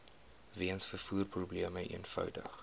weens vervoerprobleme eenvoudig